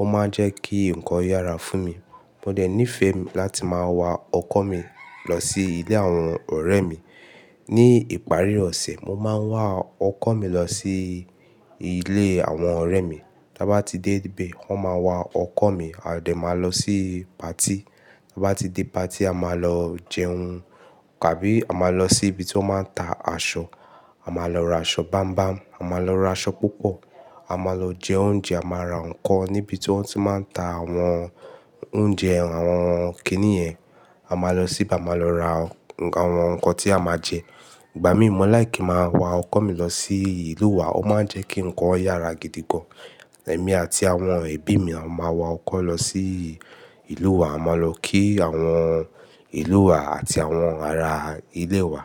ó máa ń jẹ́ kí nǹkan yára fún mi. Mo dẹ̀ nífẹ̀ẹ́ láti máa wa ọkọ̀ mi lọ sí ilé àwọn ọ̀rẹ́ mi. Ni ìparí ọ̀sẹ̀, mo máa ń wa ọkọ̀ mi lọ sí ilé àwọn ọ̀rẹ́ mi. Tí a bá ti dé ibẹ̀, wọ́n máa wa ọkọ̀ mi, a dẹ̀ máa lọ sí party. Tí a bá ti dé patí, a máa lọ jẹun, tàbí a máa lọ sí ibi tí wọ́n ti máa ta aṣọ, a máa lọ ra aṣọ bámbám, a máa lọ ra aṣọ púpọ̀, a máa lọ jẹ oúnjẹ, a máa ra nǹkan níbi tí wọ́n ti máa ń ta àwọn oúnjẹ, àwọn kíni yẹn. A máa lọ sí bar a máa lọ ra àwọn nǹkan tí a máa jẹ. Ìgbà mí mọ́ like kí n máa wa ọkọ̀ mi lọ sí ìlú wa, ó máa ń jẹ́ kí nǹkan yára gidi gan. Ẹ̀mí àti àwọn ẹbí mi a máa wa ọkọ̀ lọ sí ìlú wa, a máa lọ kí àwọn ìlú wa àti àwọn ara ilé wa.